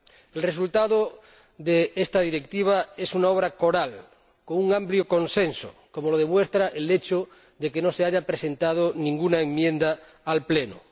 El resultado de esta Directiva es una obra coral, con un amplio consenso, como lo demuestra el hecho de que no se haya presentado ninguna enmienda al Pleno.